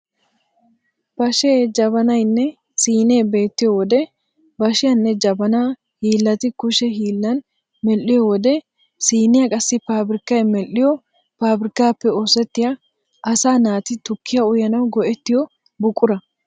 Bashee, jabanaynne siinee beettiyo wode bashiyanne jabanaa hiillati kushe hiillan medhdhiyo wode siiniya qassi paabirikkay medhdhiyo paabirkkaappe oosettiya asaa naati tukkiya uyanawu go'ettiyo buqura.